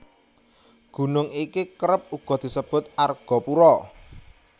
Gunung iki kerep uga disebut Argopuro